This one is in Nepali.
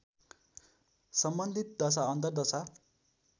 सम्बन्धित दशा अन्तरदशा